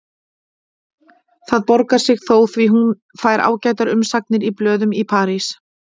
Það borgar sig þó því hún fær ágætar umsagnir í blöðum í París.